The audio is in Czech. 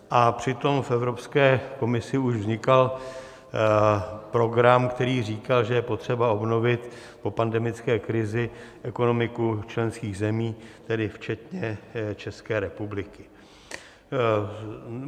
A přitom v Evropské komisi už vznikal program, který říkal, že je potřeba obnovit po pandemické krizi ekonomiku členských zemí, tedy včetně České republiky.